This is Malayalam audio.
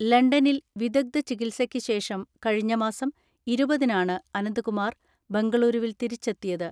ലണ്ടനിൽ വിദഗ്ധ ചികിത്സക്ക് ശേഷം കഴിഞ്ഞമാസം ഇരുപതിനാണ് അനന്തകുമാർ ബംഗളുരുവിൽ തിരിച്ചെത്തിയത്.